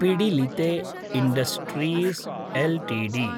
Pidilite industries LTD